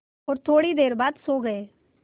और थोड़ी देर बाद सो गए